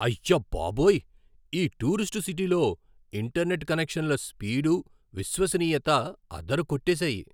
అయ్యబాబోయ్! ఈ టూరిస్టు సిటీలో ఇంటర్నెట్ కనెక్షన్ల స్పీడు, విశ్వసనీయత అదరకొట్టేశాయి.